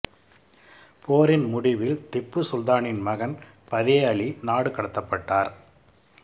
போரின் முடிவில் திப்பு சுல்தானின் மகன் பதே அலி நாடு கடத்தப்பட்டார்